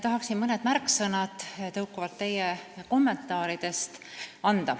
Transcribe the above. Tahaksin tuua mõned märksõnad tõukuvalt teie kommentaaridest.